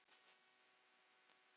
Og það tókst henni.